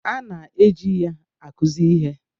A na-eji ya akụzi ihe.